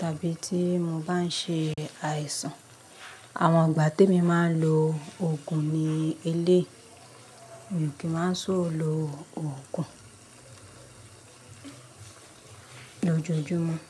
tàbí tí mo bá ń ṣe àìsàn. Àwọn ìgbà te mi máa ń lo Ògùn ni eléyi, mi ò kí ń máa sò lo Ògùn ni ójoojúmọ́